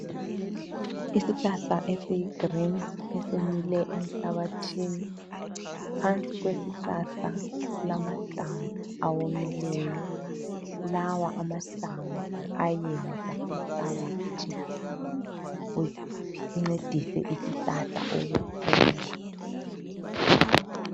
Isihlahla esiyi green esimile emhlabathini , phansi kwesihlahla kulamahlamvu awomileyo, lawa amahlamvu ayayenza umhlabathi uncedisa isihlahla ukukhula